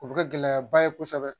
O bɛ kɛ gɛlɛyaba ye kosɛbɛ.